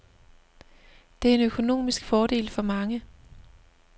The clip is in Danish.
Det er en økonomisk fordel for mange.